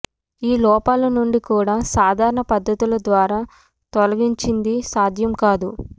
ఈ లోపాలు నుండి కూడా సాధారణ పద్ధతుల ద్వారా తొలగించింది సాధ్యం కాదు